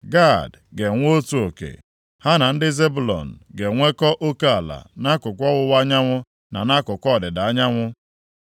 Gad ga-enwe otu oke; ha na ndị Zebụlọn ga-enwekọ oke ala nʼakụkụ ọwụwa anyanwụ na nʼakụkụ ọdịda anyanwụ.